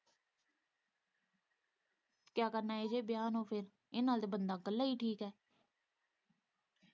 ਕਿਆ ਕਰਨਾ ਇਹੋ-ਜਿਹੇ ਵਿਆਹ ਨੂੰ ਉੱਥੇ ਇਹਦੇ ਨਾਲ਼ ਤੇ ਬੰਦਾ ਇੱਕਲਾ ਹੀ ਠੀਕ ਏ।